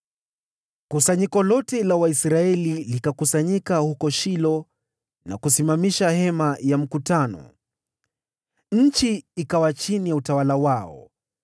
Kusanyiko lote la Waisraeli likakusanyika huko Shilo na kusimamisha Hema la Kukutania. Nchi ikawa chini ya utawala wao,